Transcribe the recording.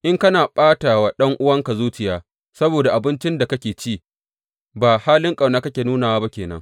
In kana ɓata wa ɗan’uwanka zuciya saboda abincin da kake ci, ba halin ƙauna kake nunawa ba ke nan.